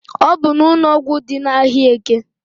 Ọbụ n'ụnọgwụ dị n'ahịa eke.